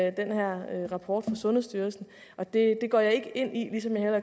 i den her rapport fra sundhedsstyrelsen det går jeg ikke ind i ligesom jeg